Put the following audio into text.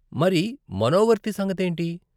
మరి మనోవర్తి సంగతేంటి?